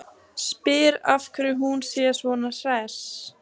Spyr af hverju hún sé svona hress.